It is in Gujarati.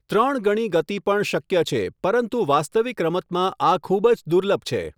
ત્રણ ગણી ગતિ પણ શક્ય છે, પરંતુ વાસ્તવિક રમતમાં આ ખૂબ જ દુર્લભ છે.